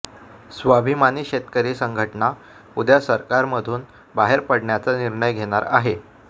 स्वाभिमानी शेतकरी संघटना उद्या सरकारमधून बाहेर पडण्याचा निर्णय घेणार आहे